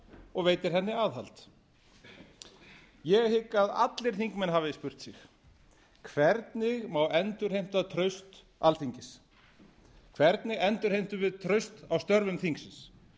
og veitir henni aðhald ég hygg að allir þingmenn hafi spurt sig hvernig má endurheimta traust alþingis hvernig endurheimtum við traust á störfum þingsins